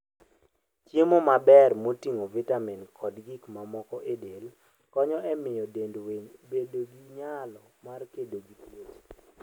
Chiemo maber moting'o vitamin kod gik mamoko e del konyo e miyo dend winy obed gi nyalo mar kedo gi tuoche.